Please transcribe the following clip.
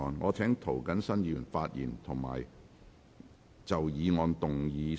我請涂謹申議員發言及就議案動議修正案。